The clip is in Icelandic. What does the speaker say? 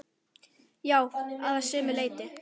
Já, að sumu leyti.